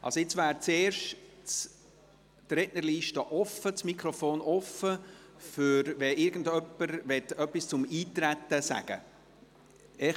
Zuerst ist jetzt die Rednerliste offen, falls jemand etwas zum Eintreten sagen möchte.